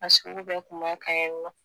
A sugu bɛɛ kun b'a kan yen nɔ